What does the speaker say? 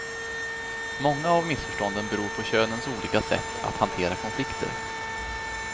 Många av missförstånden beror på könens olika sätt att hantera konflikter.